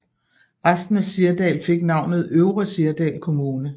Resten af Sirdal fik navnet Øvre Sirdal kommune